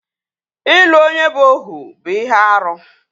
Ịlụ onye bụ Ohu bụ ihe árú